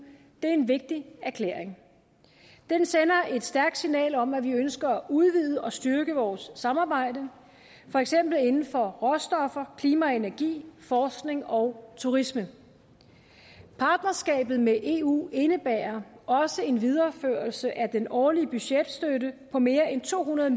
det er en vigtig erklæring den sender et stærkt signal om at vi ønsker at udvide og styrke vores samarbejde for eksempel inden for råstoffer klima og energi forskning og turisme partnerskabet med eu indebærer også en videreførelse af den årlige budgetstøtte på mere end to hundrede